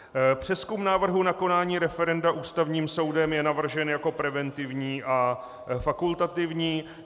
Přezkum návrhu na konání referenda Ústavním soudem je navržen jako preventivní a fakultativní.